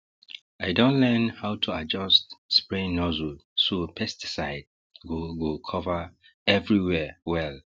i don learn how to adjust spraying nozzle so pesticide go go cover everywhere well